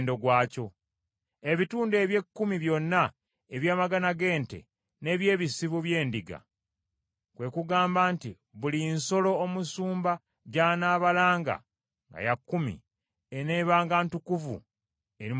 Ebitundu eby’ekkumi byonna ebyamagana g’ente n’eby’ebisibo by’endiga, kwe kugamba nti buli nsolo omusumba gy’anaabalanga nga ya kkumi, eneebanga ntukuvu eri Mukama Katonda.